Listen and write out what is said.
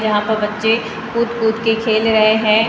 यहां पर बच्चे कूद कूद के खेल रहे हैं।